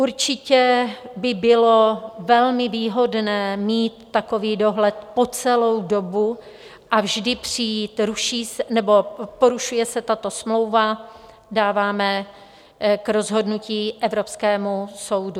Určitě by bylo velmi výhodné mít takový dohled po celou dobu a vždy přijít: porušuje se tato smlouva, dáváme k rozhodnutí evropskému soudu.